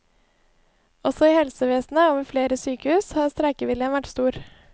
Også i helsevesenet og ved flere sykehus har streikeviljen vært stor.